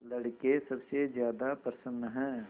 लड़के सबसे ज्यादा प्रसन्न हैं